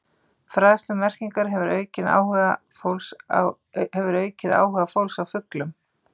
Fræðsla um merkingar hefur aukið áhuga fólks á fuglum.